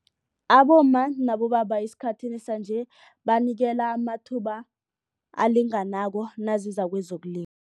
Abomma nabobaba esikhathini sanje banikela amathuba alinganako naziza